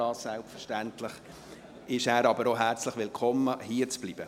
Aber selbstverständlich ist er auch herzlich willkommen hierzubleiben.